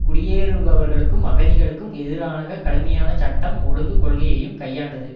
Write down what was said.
குடியேறுபவர்களுக்கும் அகதிகளுக்கும் எதிராக கடுமையான சட்டம் ஒழுங்கு கொள்கையையும் கையாண்டது